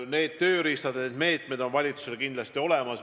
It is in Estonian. Need tööriistad, need meetmed on valitsusel kindlasti olemas.